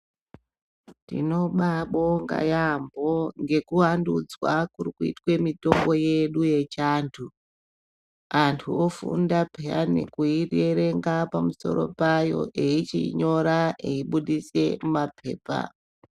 Tinobabonga yambo ngekuvandudzwa kurikuitwe mitombo yedu yechiantu antu ofunda peya nekuiwerenga pamusoro payo eyi chiyinyora eyibuditse mapepa